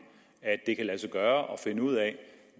at det kan lade sig gøre at finde ud af